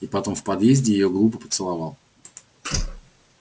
и потом в подъезде её глупо поцеловал